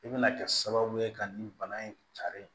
I bɛna kɛ sababu ye ka nin bana in cari